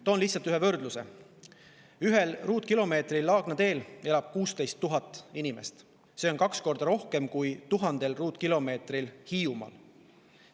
Toon lihtsalt ühe võrdluse: 1 ruutkilomeetril Laagna tee ümbruses elab 16 000 inimest, see on kaks korda rohkem kui 1000 ruutkilomeetril Hiiumaal.